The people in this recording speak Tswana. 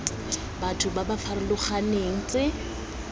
batho ba ba farologaneng tse